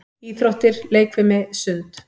Íþróttir- leikfimi- sund